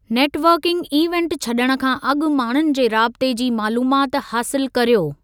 Networking event छॾणु खां अॻु माण्हुनि जे राबते जी मालूमात हासिलु करियो।